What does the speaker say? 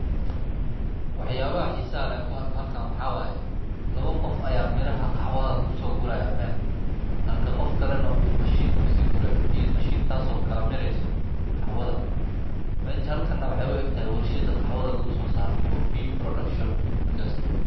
Waxyaabaha xiisaan ee aan ku arko halkaan waxa waaye, laba qof ayaa miraha qaxwaaga ku soo guraya meel. Halka qof kale na u mashiin ku sii gura iyo mashiin taasoo kala mirayso qaxwada. Meja halkan nab xeebo aqta ah warshida qaxwada lagu soo saaro Coffee Production Industry.